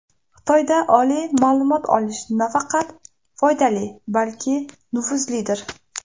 Xitoyda oliy ma’lumot olish nafaqat foydali, balki nufuzlidir.